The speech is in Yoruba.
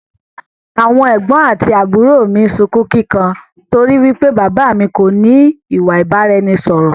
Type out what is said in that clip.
Àwọn ẹ̀gbọ̀n àti àbúrò mi sunkún kíkan torí wípé bàbà á mi kò ní ìwà ìbáraẹnisọọ̀rọ̀